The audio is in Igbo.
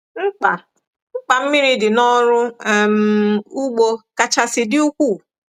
Mkpa Mkpa mmiri dị n’ọrụ um ugbo kachasị dị ukwuu.